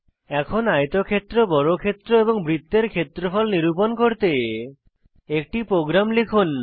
এখন আয়তক্ষেত্র বর্গক্ষেত্র এবং বৃত্তের ক্ষেত্রফল নিরূপণ করতে একটি প্রোগ্রাম লিখুন